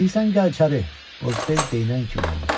İstəyirsən gəl içəri, Qozbel deyinən kimi oldu.